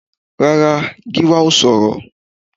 Rárá, Gíwá ò sọ̀rọ̀